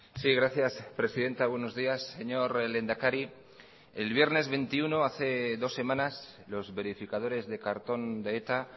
sí gracias presidenta buenos días señor lehendakari el viernes veintiuno hace dos semanas los verificadores de cartón de eta